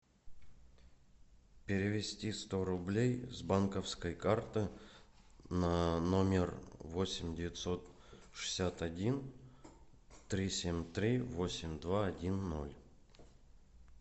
перевести сто рублей с банковской карты на номер восемь девятьсот шестьдесят один три семь три восемь два один ноль